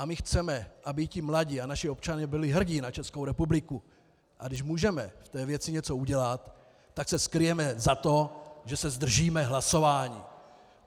A my chceme, aby ti mladí a naši občané byli hrdí na Českou republiku, a když můžeme v té věci něco udělat, tak se skryjeme za to, že se zdržíme hlasování.